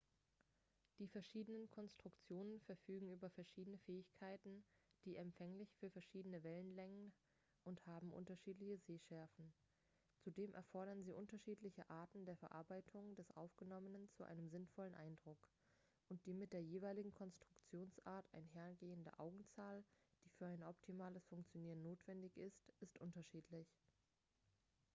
die verschiedenen konstruktionen verfügen über verschiedene fähigkeiten sind empfänglich für verschiedene wellenlängen und haben unterschiedliche sehschärfen zudem erfordern sie unterschiedliche arten der verarbeitung des aufgenommenen zu einem sinnvollen eindruck und die mit der jeweiligen konstruktionsart einhergehende augenzahl die für ein optimales funkionieren notwendig ist ist unterschiedlich